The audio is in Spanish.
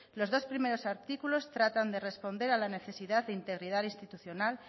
los dos primeros artículos tratan de responder a la necesidad de integridad institucional